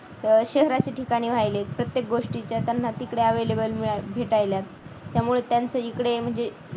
शहराच्या ठिकाणी वाहिले प्रत्येक गोष्टीच्या त्यांना तिकडे available भेटायला मिळाला त्यामुळे त्यांचे इकडे म्हणजे